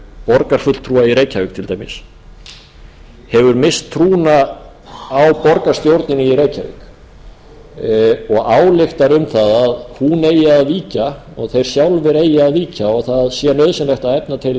borgarfulltrúa í reykjavík til dæmis hefur misst trúna á borgarstjórnina í reykjavík og ályktar um það að hún eigi að víkja og þeir sjálfir eigi að víkja og það sé nauðsynlegt að efna til